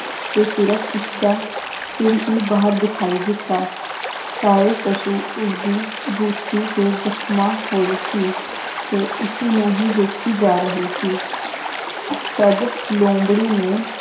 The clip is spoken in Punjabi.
ਤੇ ਸਿਰਫ ਉਸਦਾ ਸਿਰ ਹੀ ਬਾਹਰ ਦਿਖਾਈ ਦਿੱਤਾ ਸਾਰੇ ਪਸ਼ੂ ਉਸਦੀ ਬੂਥੀ ਤੇ ਜਖਮ ਹੋਏ ਸੀ ਤੇ ਉਸੀ ਨੂੰ ਹੀ ਵੇਖੀ ਜਾ ਰਹੇ ਸੀ ਤਦ ਲੋਮੜੀ ਨੇ